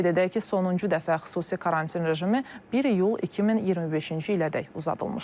Qeyd edək ki, sonuncu dəfə xüsusi karantin rejimi 1 iyul 2025-ci ilədək uzadılmışdı.